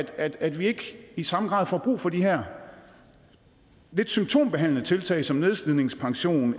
at at vi ikke i samme grad får brug for de her lidt symptombehandlende tiltag som nedslidningspension